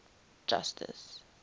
justice